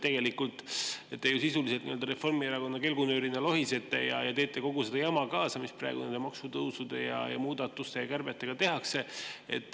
Tegelikult te ju sisuliselt Reformierakonna kelgunöörina lohisete ja teete kogu seda jama kaasa, mis praegu nende maksutõusude ja muudatuste ja kärbetega tehakse.